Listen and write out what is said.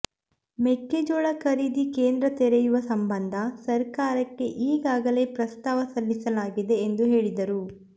ಮೆಕ್ಕೆಜೋಳ ಖರೀದಿ ಕೇಂದ್ರ ತೆರೆಯುವ ಸಂಬಂಧ ಸರ್ಕಾರಕ್ಕೆ ಈಗಾಗಲೇ ಪ್ರಸ್ತಾವ ಸಲ್ಲಿಸಲಾಗಿದೆ ಎಂದು ಹೇಳಿದರು